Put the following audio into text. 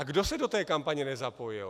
A kdo se do té kampaně nezapojil?